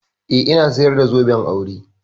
Eh, ina sayar da zoben aure.